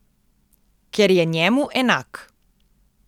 Ker je njemu enak.